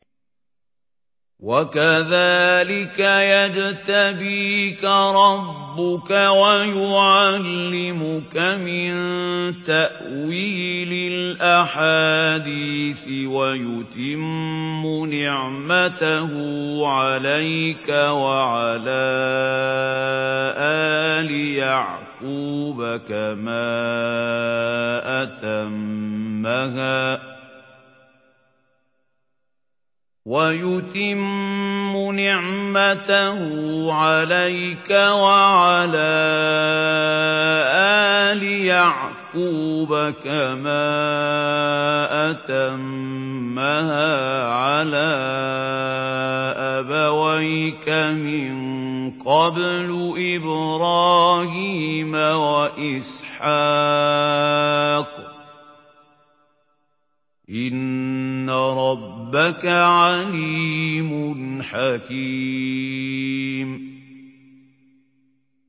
وَكَذَٰلِكَ يَجْتَبِيكَ رَبُّكَ وَيُعَلِّمُكَ مِن تَأْوِيلِ الْأَحَادِيثِ وَيُتِمُّ نِعْمَتَهُ عَلَيْكَ وَعَلَىٰ آلِ يَعْقُوبَ كَمَا أَتَمَّهَا عَلَىٰ أَبَوَيْكَ مِن قَبْلُ إِبْرَاهِيمَ وَإِسْحَاقَ ۚ إِنَّ رَبَّكَ عَلِيمٌ حَكِيمٌ